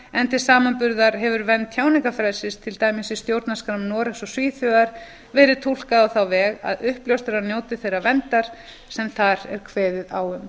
til samanburðar hefur vernd tjáningarfrelsisins til dæmis í stjórnarskrám noregs og svíþjóðar verið túlkað á þá leið að uppljóstrarar njóti þeirrar verndar sem þar er kveðið á um